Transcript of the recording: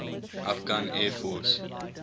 afghan air force